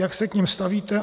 Jak se k nim stavíte?